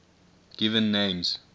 given names